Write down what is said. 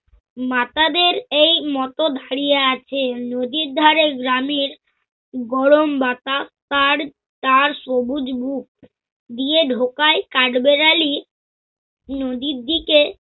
মাতাদের এই মত দাঁড়িয়ে আছেন নদীর ধাঁরে গ্রামের গরম বাতা~ তার সবুজ বুক দিয়ে ঢোকায় কাঠবেড়ালি নদীর দিকে